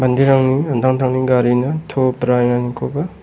manderangni an·tangtangni garina to braenganikoba--